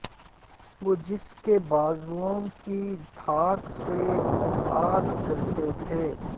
وہ جس کے بازوئوں کی دھاک سے افلاک ڈرتے تھے